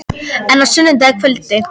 En á sunnudagskvöld?